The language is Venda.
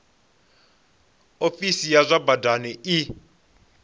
ofisi ya zwa badani i